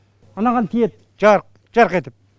анаған тиеді жарқ жарқ етіп